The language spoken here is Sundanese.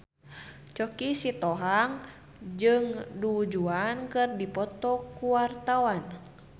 Choky Sitohang jeung Du Juan keur dipoto ku wartawan